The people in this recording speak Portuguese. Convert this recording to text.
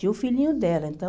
Tinha o filhinho dela, então...